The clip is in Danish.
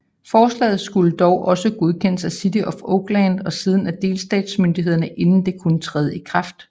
Forslaget skulle dog også godkendes af City of Oakland og siden af delstatsmyndighederne inden det kunne træde i kraft